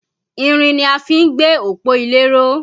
Irin ni a fí ń gbé òpó ilé ró